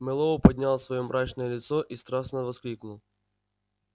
мэллоу поднял своё мрачное лицо и страстно воскликнул